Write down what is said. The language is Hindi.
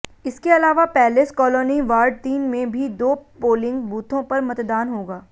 इसके अलावा पैलेस कालोनी वार्ड तीन में भी दो पोलिंग बूथों पर मतदान होगा